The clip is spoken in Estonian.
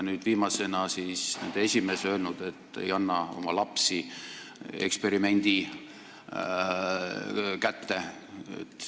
Nüüd, viimasena on nende esimees öelnud, et ei anna oma lapsi eksperimendi kätte.